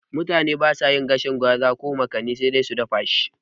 Mutane basa yin gwaten gwaza ko makani sai dai a dafa shi kawai